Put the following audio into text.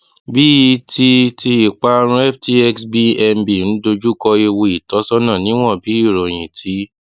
bíi ti ti ìparun ftx bnb ń dojú kọ ewu ìtọsọnà níwọn bí ìròyìn ti